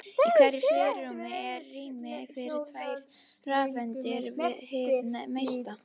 Í hverju svigrúmi er rými fyrir tvær rafeindir hið mesta.